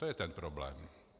To je ten problém.